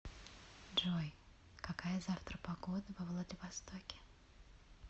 джой какая завтра погода во владивостоке